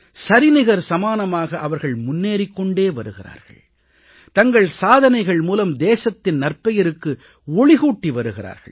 சரிநிகர் சமானமாக அவர்கள் முன்னேறிக் கொண்டு வருகிறார்கள் தங்கள் சாதனைகள் மூலம் தேசத்தின் நற்பெயருக்கு ஒளிகூட்டி வருகிறார்கள்